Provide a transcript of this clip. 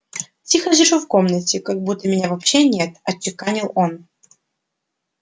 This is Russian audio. тихо сижу в комнате как будто меня вообще нет отчеканил он